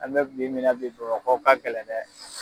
An bɛ bi mina bi Bamakɔ ka gɛlɛn dɛ.